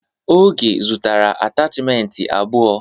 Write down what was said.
Oge zụtara atachimentị abụọ.